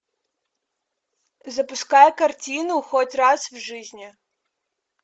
запускай картину хоть раз в жизни